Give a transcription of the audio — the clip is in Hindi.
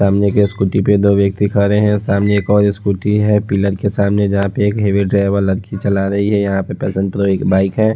सामने के स्कूटी में दो व्यक्ति खड़े हैं सामने एक और स्कूटी है पिलर के सामने जहां पर एक हैवी ड्राइवर लड़की चला रही है यहां पे एक बाइक है।